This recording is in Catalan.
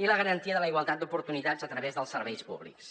i la garantia de la igualtat d’oportunitats a través dels serveis públics